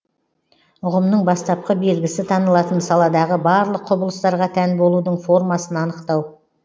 ұғымның бастапқы белгісі танылатын саладағы барлық құбылыстарға тән болудың формасын анықтау